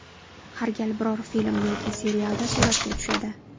Har gal biror film yoki serialda suratga tushadi.